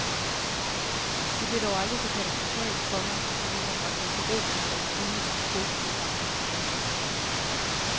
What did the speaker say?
Det blev dog aldrig så katastrofalt, komma at det ville have bragt hans erobring af den gule tricot i fare. punktum